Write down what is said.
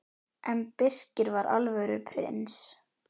En Birkir var alvöru prins.